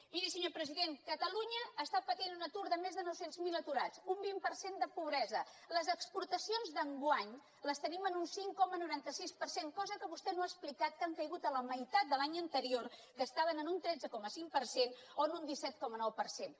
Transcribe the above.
miri senyor president catalunya està patint un atur de més nou cents miler aturats un vint per cent de pobresa les exportacions d’enguany les tenim en un cinc coma noranta sis per cent cosa que vostè no ha explicat que han caigut a la meitat de l’any anterior que estaven en un tretze coma cinc per cent o en un disset coma nou per cent